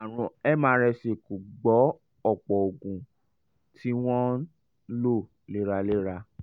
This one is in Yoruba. àrùn mrsa kò gbọ́ ọ̀pọ̀ oògùn tí wọ́n ń lò léraléra